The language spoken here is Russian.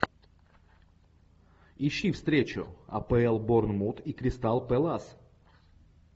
ищи встречу апл борнмут и кристал пэлас